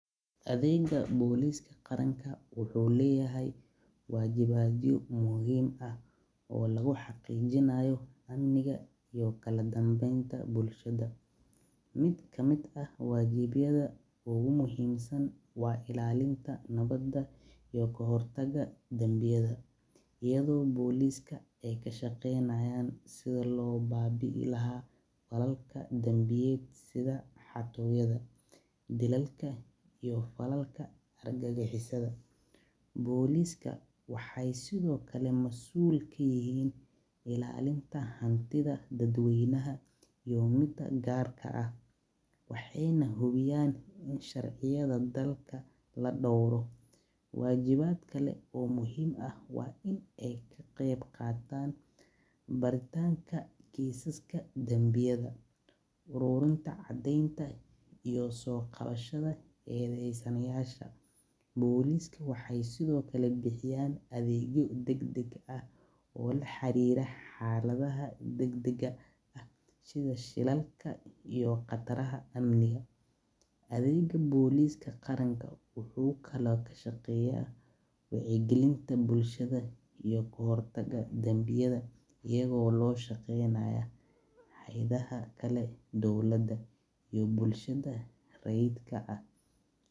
Adeega boliska qaranka wuxuu leyahay wajibyo, mid kamid ah wajibyada waa kahor taga faladka bandiyeed, dilalak iyo ar gagixisada, ilaalinta daqalaha, in sharciga la dooro, baritanka kesiska danbiyada, soo qabashada tuugyada, xakadaha dagdaga ah, adeega boliska wuxuu ka shaqeeya wac yi galinta bulshada.